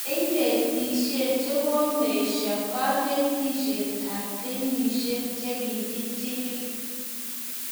cheineitihsnen che komeshoo kanetishiet ab kenyishishaik che kichikili